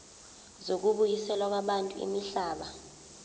zokubuyiselwa kwabantu imihlaba